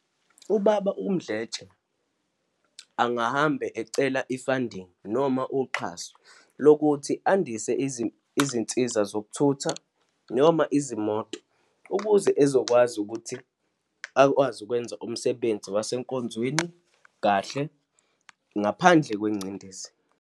UBaba uMdletshe angahambe ecela i-funding noma uxhaso lokuthi andise izinsiza zokuthutha noma izimoto ukuze ezokwazi ukuthi akwazi ukwenza umsebenzi wasenkonzweni kahle, ngaphandle kwengcindezi.